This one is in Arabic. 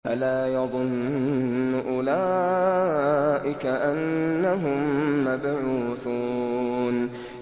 أَلَا يَظُنُّ أُولَٰئِكَ أَنَّهُم مَّبْعُوثُونَ